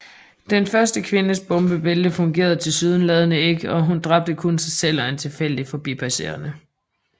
Den første kvindes bombebælte fungerede tilsyneladende ikke og hun dræbte kun sig selv og en tilfældig forbipasserende